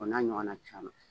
O n'a ɲɔgɔn na caman